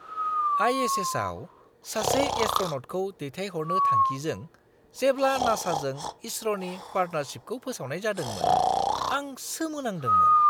आइ.एस.एस.आव सासे एस्ट्र'न'टखौ दैथायहरनो थांखिजों जेब्ला नासाजों इसर'नि पार्टनारशिपखौ फोसावनाय जादोंमोन आं सोमोनांदोंमोन!